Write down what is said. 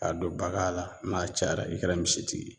K'a don bagan la n'a cayara i kɛra misitigi ye